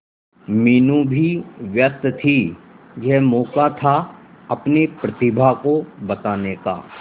मीनू भी व्यस्त थी यह मौका था अपनी प्रतिभा को बताने का